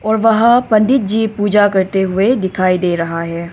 और वहां पंडित जी पूजा करते हुए दिखाई दे रहा है।